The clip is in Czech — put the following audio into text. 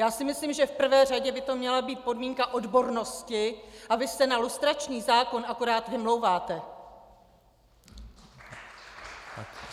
Já si myslím, že v prvé řadě by to měla být podmínka odbornosti a vy se na lustrační zákon akorát vymlouváte.